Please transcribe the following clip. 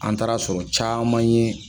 An taara sɔrɔ caman ye